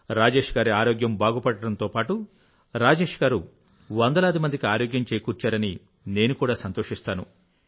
రాజేష్ గారి ఆరోగ్యం బాగుపడడంతో పాటు రాజేష్ గారు వందలాది మందికి ఆరోగ్యం చేకూర్చారని నేను కూడా సంతోషిస్తాను